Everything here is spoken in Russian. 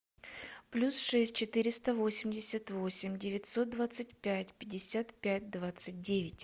плюс шесть четыреста восемьдесят восемь девятьсот двадцать пять пятьдесят пять двадцать девять